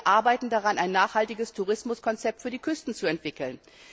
Wir arbeiten daran, ein nachhaltiges Tourismuskonzept für die Küsten zu entwickeln.